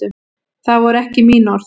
Það voru ekki mín orð.